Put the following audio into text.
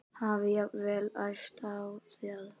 Hafi jafnvel æpt á þá.